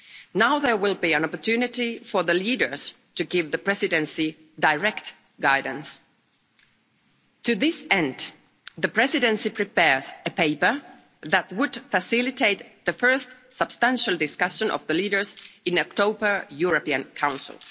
Now there will be an opportunity for the leaders to give the Presidency direct guidance. To this end, the Presidency is preparing a paper that will facilitate the first substantial discussion of the leaders in October's European Council.